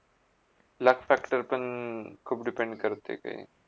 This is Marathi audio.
Luck factor पण खुप depend करते काही